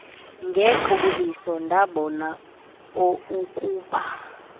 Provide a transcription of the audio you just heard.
ngequbuliso ndabona oukuba